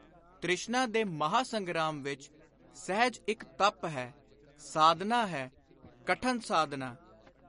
ਤ੍ਰਿਸ਼ਨਾ ਦੇ ਮਹਾਂ-ਸੰਗਰਾਮ ਵਿਚ ਸਹਿਜ ਇਕ ਤਪ ਹੈ, ਸਾਧਨਾ ਹੈ, ਕਠਨ ਸਾਧਨਾ।